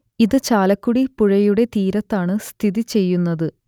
ഇത് ചാലക്കുടി പുഴയുടെ തീരത്താണ് സ്ഥിതിചെയ്യുന്നത്